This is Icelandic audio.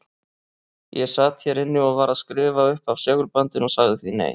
Ég sat hér inni og var að skrifa upp af segulbandinu og sagði því nei.